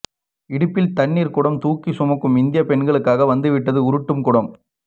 இடுப்பில் தண்ணீர் குடம் தூக்கி சுமக்கும் இந்திய பெண்களுக்காக வந்துவிட்டது உருட்டும் குடம்